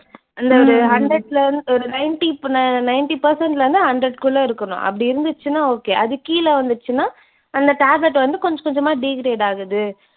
ஒரு ninety percent ல இருந்து hundred குள்ள இருக்கணும். அப்படி இருந்துச்சுன்னா okay. அதுக்கு கீழ வந்துடிச்சின்னா அந்த tablet வந்து கொஞ்ச கொஞ்சமா degrade ஆகுது.